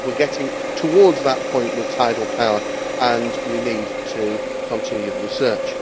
I believe we are getting towards that point with tidal power and we need to continue the research.